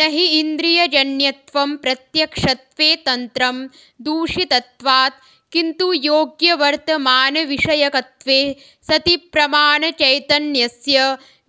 नहि इन्द्रियजन्यत्वं प्रत्यक्षत्वे तन्त्रम् दूषितत्वात् किन्तु योग्यवर्तमानविषयकत्वे सति प्रमाणचैतन्यस्य